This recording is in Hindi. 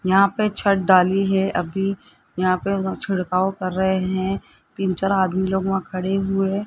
यहां पे छत डाली है अभी यहां पर छिड़काव कर रहे हैं तीन चार आदमी लोग वहां खड़े हुए --